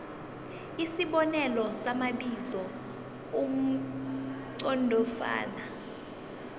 isibonelo samabizo amqondofana